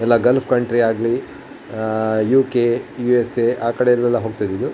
ಎಲ್ಲ gulf country ಆಗ್ಲಿ ಆಹ್ಹ್ ಯುಕೆ ಯುಎಸ್ಯೆ ಆ ಕಡೆ ಎಲ್ಲ ಹೋಗ್ತಾ ಇದ್ರೂ-